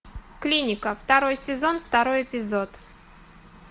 клиника второй сезон второй эпизод